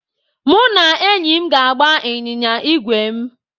Mụ na enyi m ga-agba ịnyịnya ígwè m.